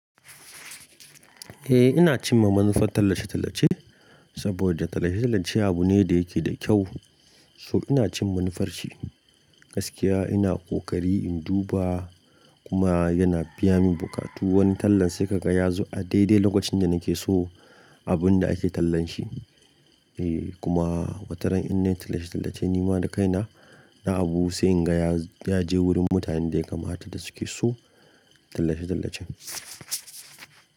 Eh ina cin mamman far tallace-tallace saboda tallace-tallace abu ne da yake da kyau. So ina cin manufar shi, gaskiya ina ƙoƙari in duba kuma yana biya min bukatu. Wani tallan sai ka ga ya zo a daidai lokacin da nake so abun da ake tallan shi. Eh kuma wataran in na yi tallace-tallace ni ma da kaina, na abu sai in ga ya je wurin mutanen da ya kamata da suke so tallace-tallacen.